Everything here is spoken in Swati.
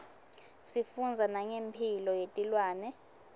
sifundza nangemphilo yetilwane